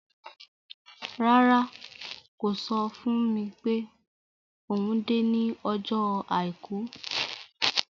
Rárá, kò sọ fún mi pé òun dé ní ọjọ́ Àìkú.